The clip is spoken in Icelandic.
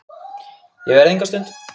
Ég verð enga stund!